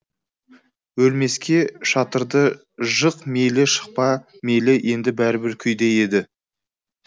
өлмеске шатырды жық мейлі жықпа мейлі енді бәрібір күйде еді